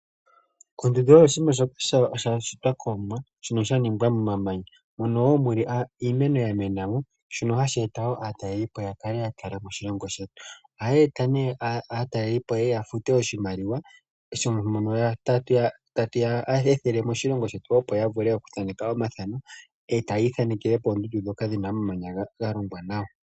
Ondundu oyo oshinima shoka sha shitwa kOmwa shono shaningwa mo mamanya moka muna iimeno ya mena mo moka hayi eta aatalelipo ya kale ya talelapo oshilongo shetu. Oha dhe eta ne aatalelipo ye ye ya fute oshimaliwa mono ta tu ya ethele moshilongo shetu opo ya vule oku thaneka, omathano noku ithanekela pondundu dhoka dhina omamanya ga longwa nawa.